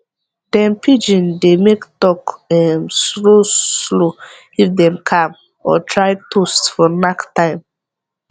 dem pidgin dey make talk um slow slow if dem calm or try toast for knack time